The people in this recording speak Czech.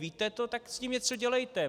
Víte to, tak s tím něco dělejte.